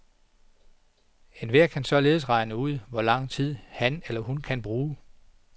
Enhver kan således regne ud, hvor lang tid han eller hun kan bruge.